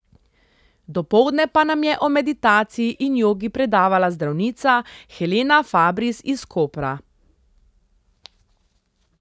Dopoldne pa nam je o meditaciji in jogi predavala zdravnica Helena Fabris iz Kopra.